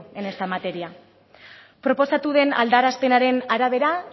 en esta materia proposatu den aldarazpenaren arabera